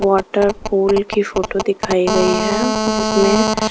Water pool की photo दिखाई गई है जिसमें.